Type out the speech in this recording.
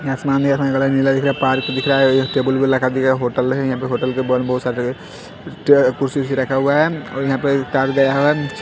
ये आसमान नीला दिख रहा है पार्क दिख रहा है एक टेबुल भी लगा दिया होटल है यहां पे होटल के बगल में बहुत सारे टे कुर्सी उर्सी रखा हुआ है और यहां पे कार भी आया है।